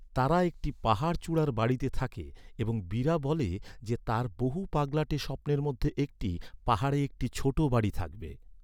তারা একটি পাহাড়চূড়ার বাড়িতে থাকে এবং বীরা বলে যে, তার বহু পাগলাটে স্বপ্নের মধ্যে একটি, পাহাড়ে একটি ছোট বাড়ি থাকবে।